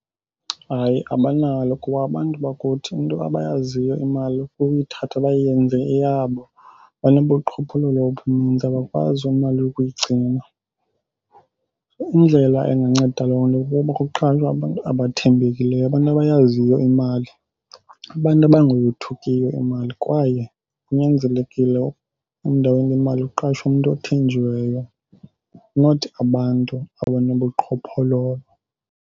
Hayi, abanalo kuba abantu bakuthi into abayaziyo imali kukuyithatha bayenze eyabo. Banobuqhophololo obunintsi, abakwazi imali ukuyigcina. Indlela enganceda loo nto kukuba kuqalwe abantu abathembekileyo, abantu abayaziyo imali, abantu abangayothukiyo imali. Kwaye kunyanzelekile endaweni yemali kuqashwe umntu othenjiweyo, not abantu abanobuqhophololo.